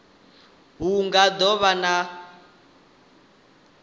hu nga do vha na